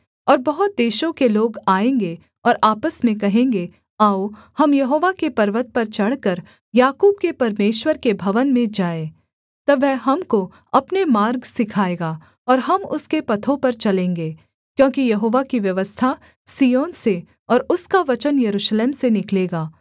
और बहुत देशों के लोग आएँगे और आपस में कहेंगे आओ हम यहोवा के पर्वत पर चढ़कर याकूब के परमेश्वर के भवन में जाएँ तब वह हमको अपने मार्ग सिखाएगा और हम उसके पथों पर चलेंगे क्योंकि यहोवा की व्यवस्था सिय्योन से और उसका वचन यरूशलेम से निकलेगा